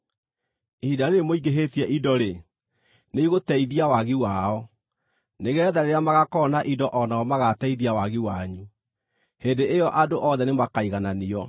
Ihinda rĩĩrĩ mũingĩhĩtie indo-rĩ, nĩigũteithia wagi wao, nĩgeetha rĩrĩa magaakorwo na indo o nao magaateithia wagi wanyu. Hĩndĩ ĩyo andũ othe nĩmakaigananio,